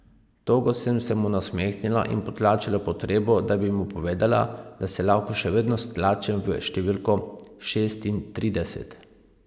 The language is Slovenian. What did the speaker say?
Togo sem se mu nasmehnila in potlačila potrebo, da bi mu povedala, da se lahko še vedno stlačim v številko šestintrideset.